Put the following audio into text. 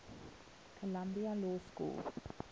columbia law school